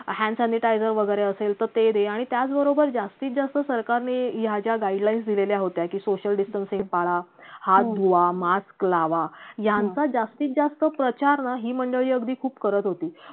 hand sanitizer वैगरे असेल तर ते दे आणि त्याचबरोबर जास्तीत जास्त या ज्या सरकारने guidelines दिलेल्या होत्या की social distancing पाळा हात धुवा mask लावा यांचा जास्तीत जास्त प्रचार ना ही मंडळी अगदी खूप करत होती